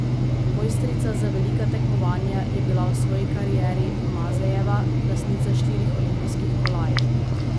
Mojstrica za velika tekmovanja je bila v svoji karieri Mazejeva, lastnica štirih olimpijskih kolajn.